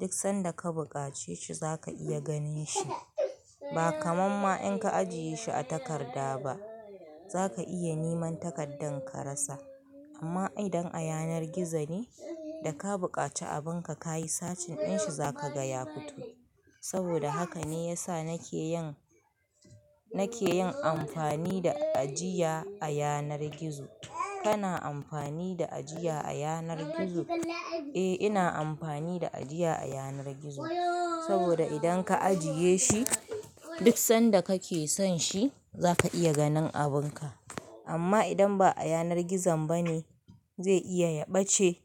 duk sanda ka buƙace shi za ka iya ganin shi. Ba kamar ma in ka ajiye shi a takarda ba. Za ka iya niman takardan ka rasa. Amma idan a yanar gizo ne, da ka buƙaci abin ka ka yi searching ɗin shi za ka gaya fito. Saboda haka ne ya sa na ke yin, na ke yin amfani da ajiya a yanar gizo. Kana amfani da ajiya a yanar gizo? Eh, ina amfani da ajiya a yanar gizo. Saboda idan ka ajiye shi, duk sanda kake son shi za ka iya ganin abin ka. Amma idan ba a yanar gizon ba ne, zai iya ya ɓace.